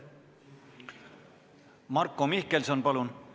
Marko Mihkelson, palun!